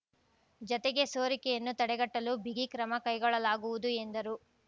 ಜತೆಗೆ ಸೋರಿಕೆಯನ್ನು ತಡೆಗಟ್ಟಲು ಬಿಗಿ ಕ್ರಮ ಕೈಗೊಳ್ಳಲಾಗುವುದು ಎಂದರು